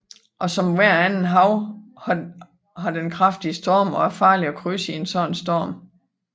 Og som ethvert andet hav har den kraftige storme og er farlig at krydse i en sådan en storm